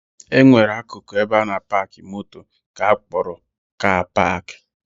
E nwere akụkụ ebe a na-apaakị moto nke akpọrọ 'kaa paakị'